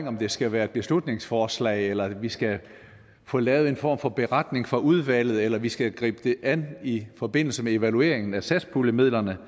om det skal være et beslutningsforslag eller vi skal få lavet en form for beretning fra udvalget eller vi skal gribe det an i forbindelse med evalueringen af satspuljemidlerne